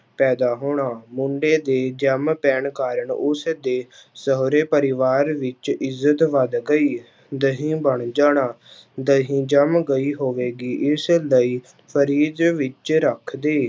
ਪੈਦਾ ਹੋਣਾ, ਮੁੰਡੇ ਦੇ ਜੰਮ ਪੈਣ ਕਾਰਨ ਉਸਦੇ ਸਹੁਰੇ ਪਰਿਵਾਰ ਵਿੱਚ ਇੱਜਤ ਵੱਧ ਗਈ, ਦਹੀਂ ਬਣ ਜਾਣਾ ਦਹੀਂ ਜੰਮ ਗਈ ਹੋਵੇਗੀ ਇਸ ਲਈ ਫ੍ਰਿਜ਼ ਵਿੱਚ ਰੱਖ ਦੇ।